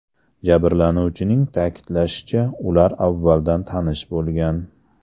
Jabrlanuvchining ta’kidlashicha, ular avvaldan tanish bo‘lgan.